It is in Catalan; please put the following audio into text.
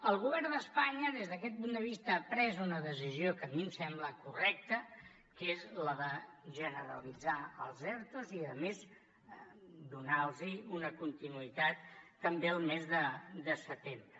el govern d’espanya des d’aquest punt de vista ha pres una decisió que a mi em sembla correcta que és la de generalitzar els ertos i a més donar los una continuïtat també el mes de setembre